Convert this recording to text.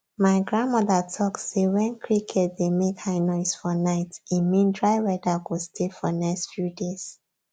my grandmother talk say when cricket dey make high noise for night e mean dry weather go stay for next few days